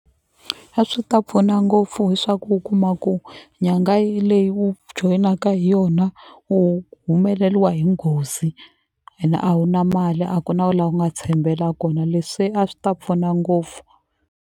A swi ta pfuna ngopfu hi swa ku u kuma ku nyanga yi leyi u joyinaka hi yona u humeleliwa hi nghozi ene a wu na mali a ku na la u nga tshembela kona leswi a swi ta pfuna ngopfu.